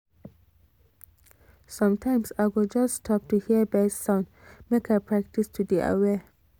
sometimes i go just stop to hear bird sound make i practice to dey aware